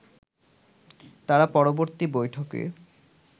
তারা পরবর্তী বৈঠকে